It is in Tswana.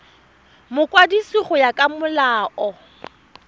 mokwadisi go ya ka molao